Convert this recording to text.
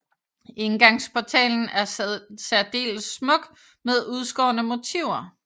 Indgangsportalen er særdeles smuk med udskårne motiver